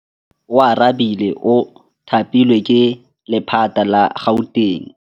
Oarabile o thapilwe ke lephata la Gauteng.